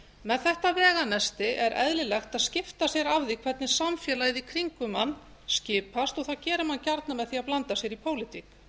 með þetta veganesti er eðlilegt að skipta sér af því hvernig samfélagið í kringum mann skipast og það gera menn gjarnan með því að blanda sér í pólitík